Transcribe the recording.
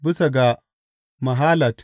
Bisa ga mahalat.